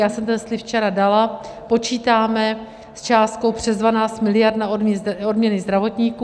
Já jsem ten slib včera dala, počítáme s částkou přes 12 miliard na odměny zdravotníkům.